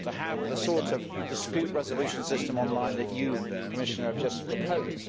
to have the sort of dispute resolution system on line that you, Commissioner, have just proposed.